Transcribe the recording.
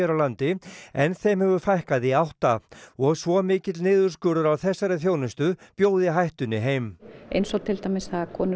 landi en þeim hefur fækkað í átta og svo mikill niðurskurður á þessari þjónustu bjóði hættunni heim eins og til dæmis það að konur